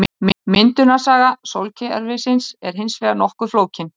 myndunarsaga sólkerfisins er hins vegar nokkuð flókin